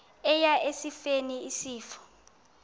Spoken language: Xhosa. eya esifeni isifo